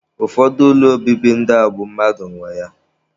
Ụfọdụ ụlọ obibi ndị a bụ mmadụ nwe ya.